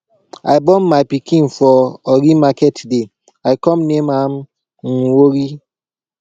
i born my pikin for orie market day i come name am nworie